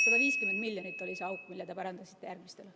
150 miljonit on see auk, mille te pärandasite järgmistele.